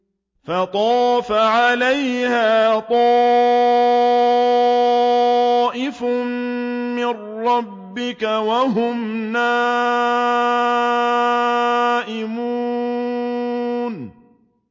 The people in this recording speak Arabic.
فَطَافَ عَلَيْهَا طَائِفٌ مِّن رَّبِّكَ وَهُمْ نَائِمُونَ